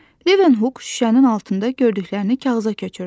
Levenhuk şüşənin altında gördüklərini kağıza köçürdü.